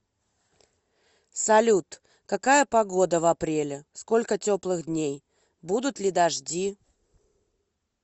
салют какая погода в апреле сколько теплых дней будут ли дожди